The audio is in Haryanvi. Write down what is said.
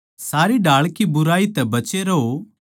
सारी ढाळ की बुराई तै बचे रहो